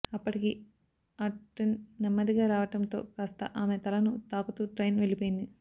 అప్పటికి ఆ ట్రైన్ నెమ్మదిగా రావడం తో కాస్త ఆమె తలను తాకుతూ ట్రైన్ వెళ్ళిపోయింది